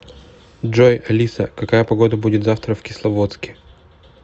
джой алиса какая погода будет завтра в кисловодске